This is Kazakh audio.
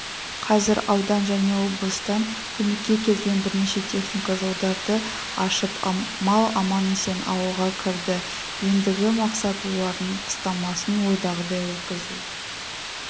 қазір аудан және облыстан көмекке келген бірнеше техника жолдарды ашып мал аман-есен ауылға кірді ендігі мақсат олардың қыстамасын ойдағыдай өткізу